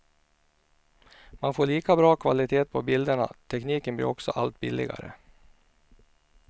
Man får lika bra kvalitet på bilderna, tekniken blir också allt billigare.